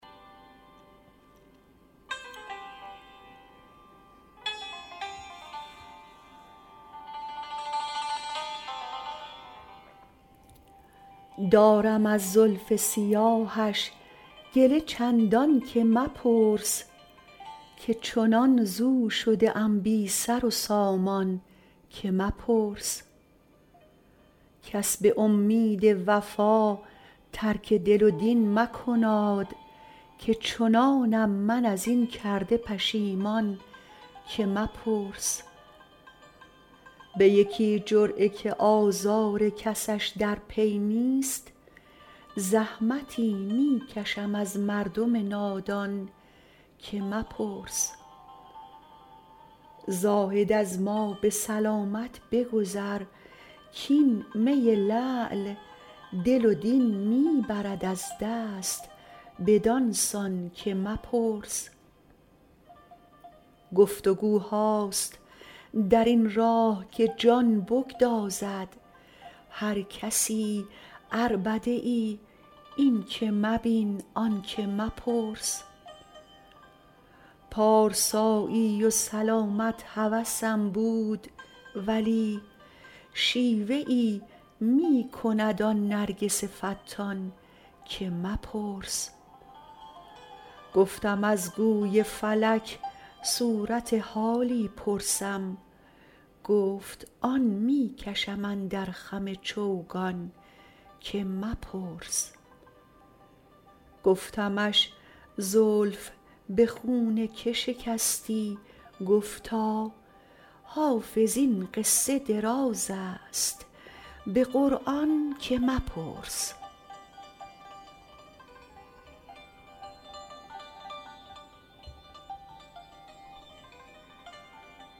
دارم از زلف سیاهش گله چندان که مپرس که چنان ز او شده ام بی سر و سامان که مپرس کس به امید وفا ترک دل و دین مکناد که چنانم من از این کرده پشیمان که مپرس به یکی جرعه که آزار کسش در پی نیست زحمتی می کشم از مردم نادان که مپرس زاهد از ما به سلامت بگذر کـ این می لعل دل و دین می برد از دست بدان سان که مپرس گفت وگوهاست در این راه که جان بگدازد هر کسی عربده ای این که مبین آن که مپرس پارسایی و سلامت هوسم بود ولی شیوه ای می کند آن نرگس فتان که مپرس گفتم از گوی فلک صورت حالی پرسم گفت آن می کشم اندر خم چوگان که مپرس گفتمش زلف به خون که شکستی گفتا حافظ این قصه دراز است به قرآن که مپرس